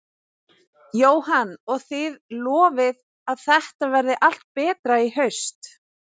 Jóhann: Og þið lofið að þetta verði allt betra í haust?